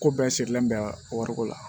Ko bɛɛ sigilen bɛ wariko la